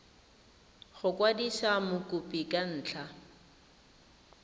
go kwadisa mokopi ka ntlha